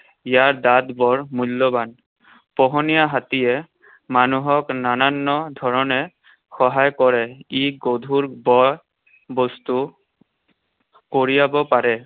ইয়াৰ দাঁত বৰ মূল্যৱান। পোহনীয়া হাতীয়ে মানুহক নানান ধৰণে সহায় কৰে। ই গধুৰ বয় বস্তু কঢ়িয়াব পাৰে।